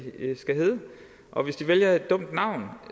og hvis de vælger et dumt navn